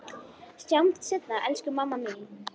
Sjáumst seinna elsku mamma mín.